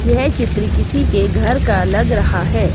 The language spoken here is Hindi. येह चित्र किसी के घर का लग रहा है।